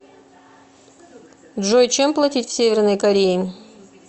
джой чем платить в северной корее